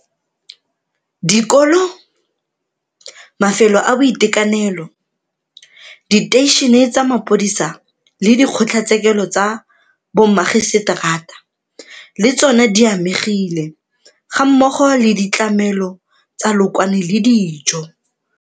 Dikolo, mafelo a boitekanelo, diteišene tsa mapodisa le dikgotlatshekelo tsa bommagiseteraa le tsona di amegile, gammogo le ditlamelo tsa lookwane le dijo.